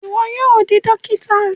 Iwọ yóò di dókítà